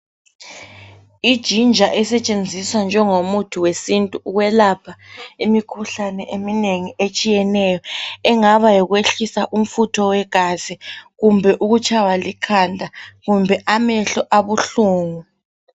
Ijinja esetshenziswa njengomuthi wesintu ukwelapha imikhuhlane eminengi etshiyeneyo engaba yikwehlisa umfutho wegazi kumbe ukutshaywa likhanda kumbe amehlo abuhlungu.